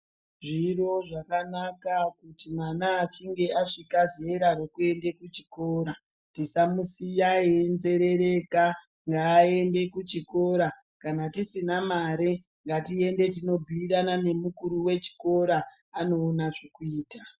Zviro zvakanaka kuti mwana achinge asvika zera rekuende kuchikora tisamusiya einzerereka ngaende kuchikora. Kana tisina mare ngatiende tinobhuirana nemukuru wechikora anoona zvekuita.